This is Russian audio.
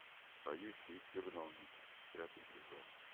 поющие в терновнике пятый сезон